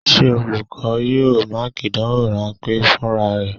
Ṣé olùkọ́ yóò Máàkì ìdánwò rán pé fúnra rẹ?